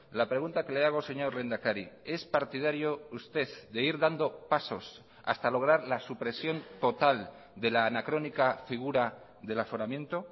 la pregunta que le hago señor lehendakari es partidario usted de ir dando pasos hasta lograr la supresión total de la anacrónica figura del aforamiento